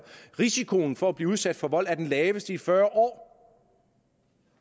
risikoen for at blive udsat for vold er den laveste i fyrre år